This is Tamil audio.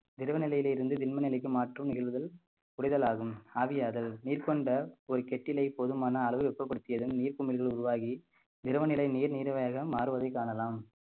திரவ நிலையில் இருந்து திண்ம நிலைக்கு மாற்றும் நிகழ்வுகள் புரிதலாகும் ஆவியாதல் நிர்பந்த ஒரு கெட்டிலை போதுமான அளவு வெப்பப்படுத்தியதன் நீர்க்குமிழ்கள் உருவாகி திரவநிலை நீர் நீர் வழியாக மாறுவதைக் காணலாம்